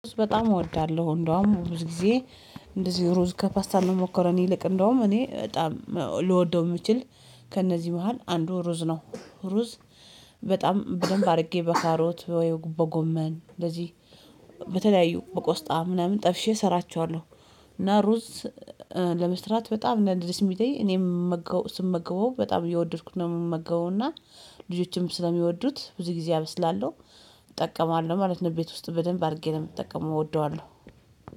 በጣም እወዳለሁ እንደውም ብዙ ጊዜ እንደዚህ ሩዝ ከፓስታ ከሞከረን ይልቅ እንደውም እኔ በጣም ልወደው የምችል ከእነዚህ መሃል አንዱ ሩዝ ነው። ሩዝ በጣም በደንብ አድርጌ በከሮት ወይም በጎመን እንደዚህ በተለያዩ በቆስጣ ምናምን ጠብሼ እሰራቸዋለሁ። እና ሩዝ ለመስራት በጣም ነው ደስ የምለኝ እኔም የምመገበው በጣም እየወደድኩት ነው የምመገበውና ልጆችም ስለሚወዱት ብዙ ጊዜ አበስላለሁ። እጠቀማለሁ ማለት ነው። ቤት ውስጥ በደንብ አድርጌ ነው የሚጠቀመው እወደዋለሁ።